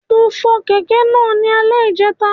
Mo fọ kẹ̀kẹ́ náà ní alè ìjẹta